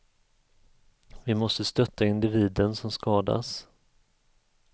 Vi måste stötta individen som skadas.